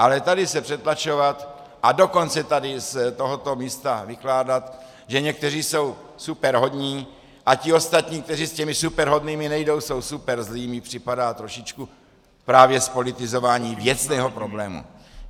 Ale tady se přetlačovat, a dokonce tady z tohoto místa vykládat, že někteří jsou superhodní a ti ostatní, kteří s těmi superhodnými nejdou, jsou superzlí, mi připadá trošičku právě zpolitizování věcného problému.